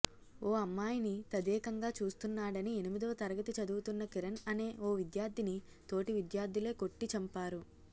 ఓ అమ్మాయిని తదేకంగా చూస్తున్నాడని ఎనిమిదవ తరగతి చదువుతున్న కిరణ్ అనే ఓ విద్యార్థిని తోటి విద్యార్థులే కొట్టి చంపారు